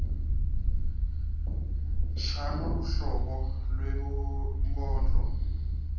shano luhlobo lwebunkondlo